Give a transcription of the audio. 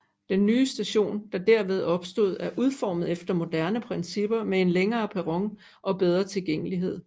Den nye station der derved opstod er udformet efter moderne principper med en længere perron og bedre tilgængelighed